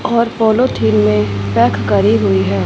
और पोलोथिन में पैक करी हुई है।